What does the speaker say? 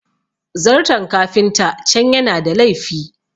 zarton kafinta can yana da laifi